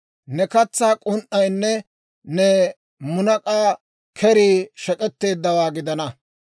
«Ne katsaa k'un"aynne ne munak'a kerii shek'etteeddawaa gidana.